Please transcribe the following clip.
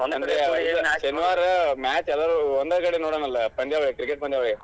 ಶನಿವಾರ match ಎಲ್ಲಾರು ಒಂದ ಕಡೆ ನೋಡೋನಲ್ ಪಂದ್ಯಾವಳಿ cricket ಪಂದ್ಯಾವಳಿ.